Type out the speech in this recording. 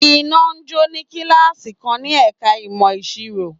Iná jó ní kíláàsì kan ní ẹ̀ka ìmọ̀ ìsirò.